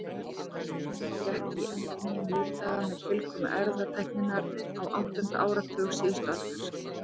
Líftæknin gekk í endurnýjun lífdaga með tilkomu erfðatækninnar á áttunda áratugi síðustu aldar.